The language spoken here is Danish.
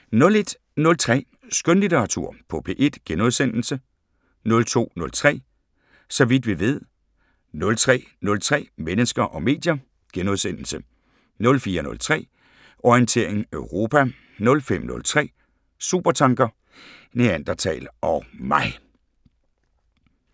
01:03: Skønlitteratur på P1 * 02:03: Så vidt vi ved 03:03: Mennesker og medier * 04:03: Orientering Europa 05:03: Supertanker: Neandertal og mig